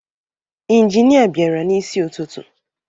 Inginịa bịara n'isi ụtụtụ